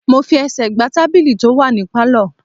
Mo fi ẹsẹ̀ gbá tábìlì tó wà ní Pálọ̀.